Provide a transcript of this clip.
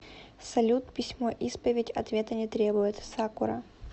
салют письмо исповедь ответа не требует сакура